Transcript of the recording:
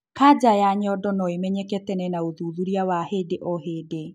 Kaja ya nyondo noĩmenyeke tene na ũthuthurĩa wa hĩndĩ o hĩndĩ